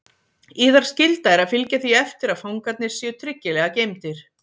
Yðar skylda er að fylgja því eftir að fangarnir séu tryggilega geymdir.